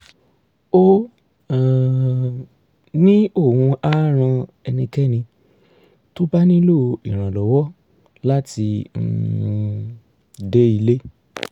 ó um ní òun á ran ẹnikẹ́ni tó bá nílò ìrànlọ́wọ́ láti um dé ilé